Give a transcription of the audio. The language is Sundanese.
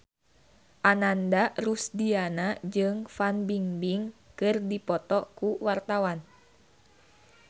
Ananda Rusdiana jeung Fan Bingbing keur dipoto ku wartawan